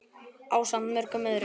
ásamt mörgum öðrum.